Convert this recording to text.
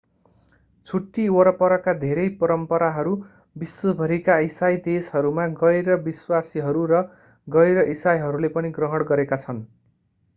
छुट्टी वरपरका धेरै परम्पराहरू विश्वभरिका इसाई देशहरूमा गैर-विश्वासीहरू र गैर-इसाईहरूले पनि ग्रहण गरेका छन्